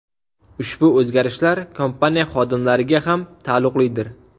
Ushbu o‘zgarishlar kompaniya xodimlariga ham taalluqlidir.